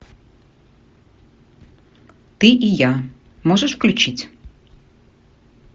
ты и я можешь включить